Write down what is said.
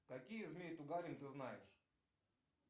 какие змей тугарин ты знаешь